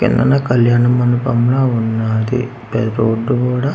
కిందన కళ్యాణ మండపం లా ఉన్నాది ఆ రోడ్డు కూడా--